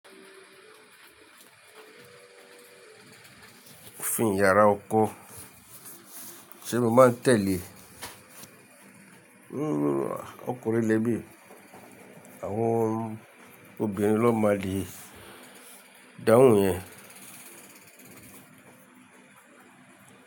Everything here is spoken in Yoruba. Fín yàrá ọkọ, ṣé mo máa tẹ̀lé? Nn à, ọkùnrin lè mi ì, àwọn obìnrin ló máa le dáhùn ìyẹn.